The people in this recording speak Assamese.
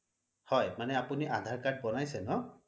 হয় মানে আপুনি আধাৰ card বোনাইছে ন্?